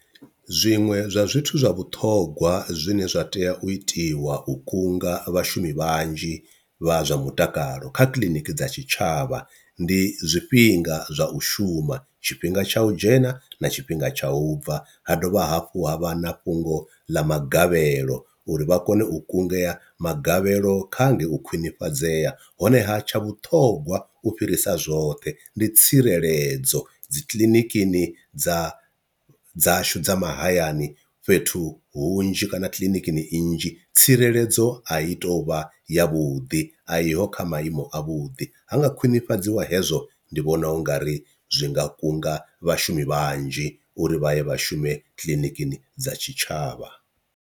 Zwiṅwe zwa zwithu zwa vhuṱhongwa zwine zwa tea u itiwa u kunga vhashumi vhanzhi vha zwa mutakalo kha kiḽiniki dza tshitshavha, ndi zwifhinga zwa u shuma tshifhinga tsha u dzhena na tshifhinga tsha u bva, ha dovha hafhu ha vha na fhungo ḽa magavhelo uri vha kone u kungea magavhelo kha ngei u khwinifhadzea, honeha tsha vhuṱhongwa u fhirisa zwoṱhe ndi tsireledzo dzi kiḽinikini dza dzashu dza mahayani fhethu hunzhi kana kiḽinikini nnzhi tsireledzo a i tou vha yavhuḓi a iho kha maimo a vhuḓi, ha nga khwinifhadziwa hezwo ndi vhona ungari zwi nga kunga vhashumi vhanzhi uri vha ye vha shume kiḽinikini dza tshitshavha.